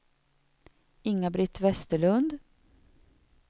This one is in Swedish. Inga-Britt Westerlund